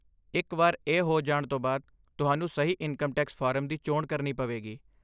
ਇੱਕ ਵਾਰ ਇਹ ਹੋ ਜਾਣ ਤੋਂ ਬਾਅਦ, ਤੁਹਾਨੂੰ ਸਹੀ ਇਨਕਮ ਟੈਕਸ ਫਾਰਮ ਦੀ ਚੋਣ ਕਰਨੀ ਪਵੇਗੀ।